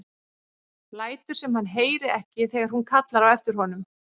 Lætur sem hann heyri ekki þegar hún kallar á eftir honum.